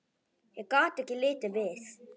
Ég gat ekki litið við.